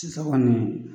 Sisan kɔni